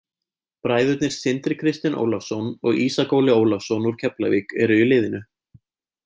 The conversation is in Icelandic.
Bræðurnir Sindri Kristinn Ólafsson og Ísak Óli Ólafsson úr Keflavík eru í liðinu.